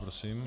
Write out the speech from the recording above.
Prosím.